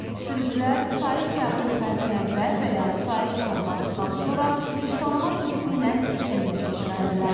Sürücülər sifariş qəbul etməzdən əvvəl və ya sifariş tamamladıqdan sonra üz tanıma testi ilə sistemdən keçməlidirlər.